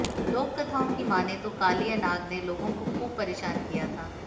लोककथाओं की मानें तो कालिया नाग ने लोगों को खूब परेशान किया था